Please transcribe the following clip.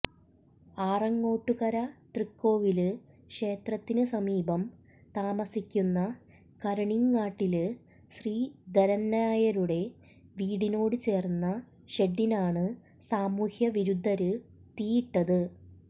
ആറങ്ങോട്ടുകര തൃക്കോവില് ക്ഷേത്രത്തിന് സമീപം താമസിക്കുന്ന കരണീംങ്ങാട്ടില് ശ്രീധരന്നായരുടെ വീടിനോട് ചേര്ന്ന ഷെഡിനാണ് സാമൂഹ്യ വിരുദ്ധര് തീയിട്ടത്